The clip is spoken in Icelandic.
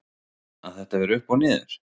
Að þetta fer upp og niður?